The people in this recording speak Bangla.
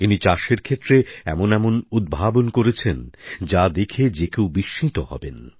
ইনি চাষের ক্ষেত্রে এমন সব উদ্ভাবন করেছেন যা দেখে যে কেউ বিস্মিত হবেন